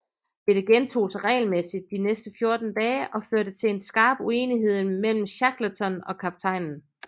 Dette gentog sig regelmæssigt de næste fjorten dage og førte til en skarp uenighed mellem Shackleton og kaptajnen